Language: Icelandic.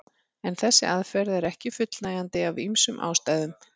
En þessi aðferð er ekki fullnægjandi af ýmsum ástæðum.